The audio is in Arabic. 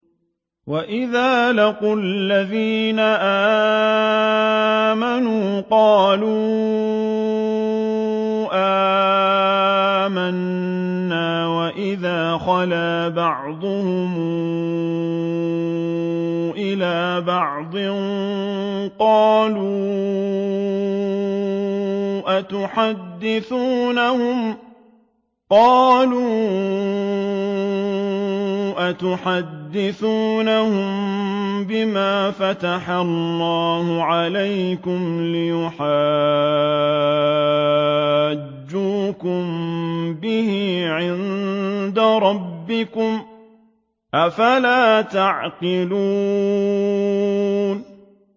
وَإِذَا لَقُوا الَّذِينَ آمَنُوا قَالُوا آمَنَّا وَإِذَا خَلَا بَعْضُهُمْ إِلَىٰ بَعْضٍ قَالُوا أَتُحَدِّثُونَهُم بِمَا فَتَحَ اللَّهُ عَلَيْكُمْ لِيُحَاجُّوكُم بِهِ عِندَ رَبِّكُمْ ۚ أَفَلَا تَعْقِلُونَ